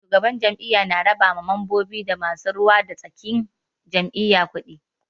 Shugaban jam'iyya na raba ma mambobi da masu ruwa da tsakin jam'iyya kuɗi.